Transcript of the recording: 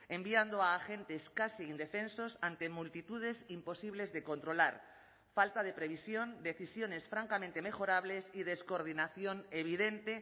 enviando a agentes casi indefensos ante multitudes imposibles de controlar falta de previsión decisiones francamente mejorables y descoordinación evidente